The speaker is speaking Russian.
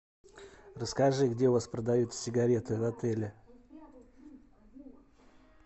расскажи где у вас продаются сигареты в отеле